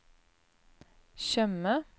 Tjøme